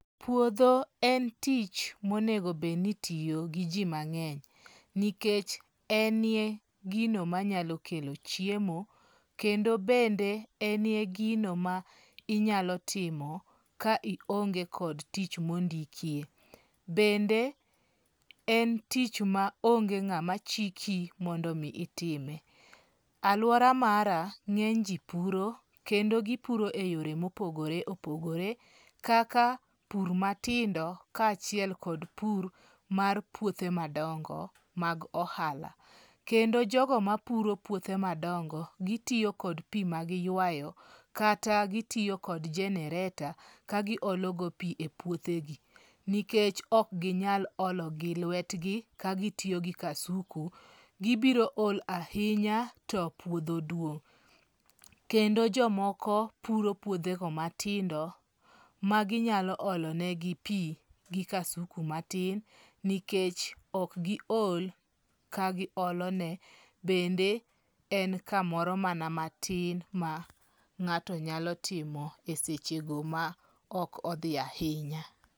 Puodho en tich monego bednitiyo gi ji mang'eny, nikech eniye gino manyalo kelo chiemo. Kendo bende, enie gino ma inyalo timo ka ionge kod tich mondikie. Bende en tich ma onge ng'ama chiki mondo mi itime. Alwora mara ng'eny ji puro, kendo gipuro e yore mopogore opogore kaka pur matindo kaachiel kod pur mar puothe madongo mag ohala. Kendo jogo mapuro puothe madongo, gitiyo kod pi ma giywayo kata gitiyo kod jenereta ka giolo go pi e puothe gi. Nikech ok ginyal olo gi lwetgi ka gitiyo gi kasuku, gibiro ol ahinya to puodho duong'. Kendo jomoko puro puodhego matindo maginyalo olenegi pi gi kasuku matin nikech ok giol kagiolone, bende en kamoro mana matin ma ng'ato nyalo timo e sechego ma ok odhi ahinya.